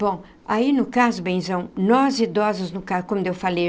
Bom, aí no caso, benzão, nós idosos, no caso, quando eu falei,